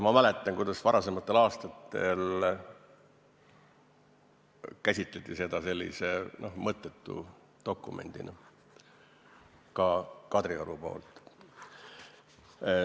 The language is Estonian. Ma mäletan, kuidas varasematel aastatel käsitleti seda sellise mõttetu dokumendina, ka Kadrioru poolt.